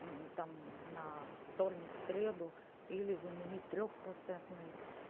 мм там на вторник среду или заменить трёх процентный